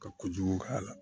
Ka kojugu k'a la